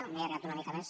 m’he allargat una mica més